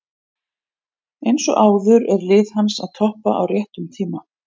Eins og áður er lið hans að toppa á réttum tíma.